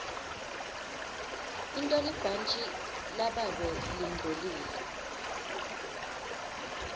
intolibhantji lababe lingcolile